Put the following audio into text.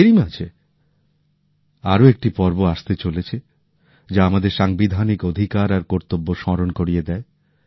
এরই মাঝে আরো একটি পর্ব আসতে চলেছে যা আমাদের সাংবিধানিক অধিকার আর কর্তব্য স্মরণ করিয়ে দেয়